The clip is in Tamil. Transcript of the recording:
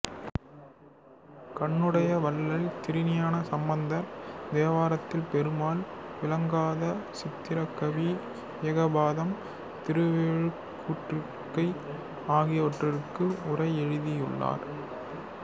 கண்ணுடைய வள்ளல் திருஞான சம்பந்தர் தேவாரத்தில் பொருள் விளங்காத சித்திரக் கவி ஏகபாதம் திருவெழுகூற்றிருக்கை ஆகியவற்றுக்கு உரை எழுதியுள்ளார்